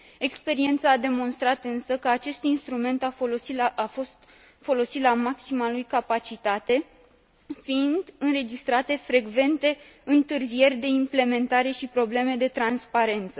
Experiența a demonstrat însă că acest instrument nu a fost folosit la maxima lui capacitate fiind înregistrate frecvente întârzieri de implementare și probleme de transparență.